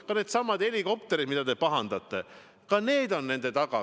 Ka needsamad helikopterid, mille üle te pahandate – ka need on eelarve taga.